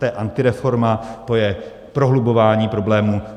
To je antireforma, to je prohlubování problémů.